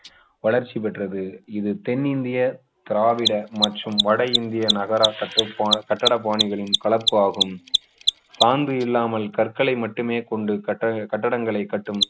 வளர்ச்சி பெற்றது இது தென்னிந்திய திராவிட மற்றும் வட இந்திய நகர கட்டிடப் பாணிகளின் கலப்பு ஆகும் சாந்து இல்லாமல் கற்களை மட்டுமே கொண்டு கட்டட கட்டடங்களை கட்டும்